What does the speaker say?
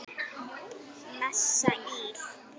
Messa íl.